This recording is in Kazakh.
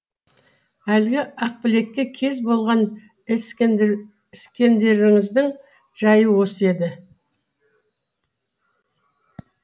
әлгі ақбілекке кез болған іскендеріңіздің жайы осы еді